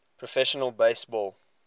professional base ball